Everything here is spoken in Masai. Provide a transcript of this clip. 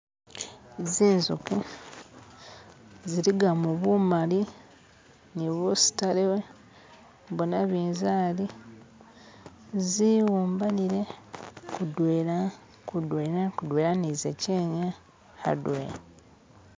Zinzuki ziligamo bumali nibusitale bwanabinzali ziwumbanile kudwena kudwena kudwena nizashe adwena.